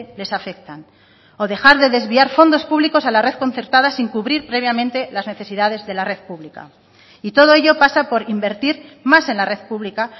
les afectan o dejar de desviar fondos públicos a la red concertada sin cubrir previamente las necesidades de la red pública y todo ello pasa por invertir más en la red pública